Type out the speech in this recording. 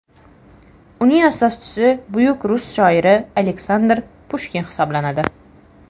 Uning asoschisi buyuk rus shoiri Aleksandr Pushkin hisoblanadi.